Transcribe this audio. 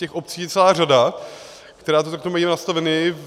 Těch obcí je celá řada, které to takto mají nastavené.